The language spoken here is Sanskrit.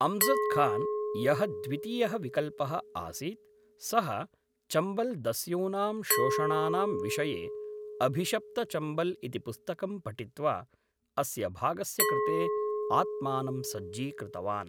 अम्जद् खान्, यः द्वितीयः विकल्पः आसीत्, सः चम्बल्दस्यूनां शोषणानां विषये अभिषप्तचम्बल् इति पुस्तकं पठित्वा अस्य भागस्य कृते आत्मानं सज्जीकृतवान्।